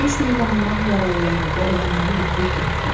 Döyüş meydanından yaralıları və ölənləri götürüb getdilər.